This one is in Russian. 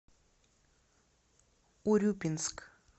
урюпинск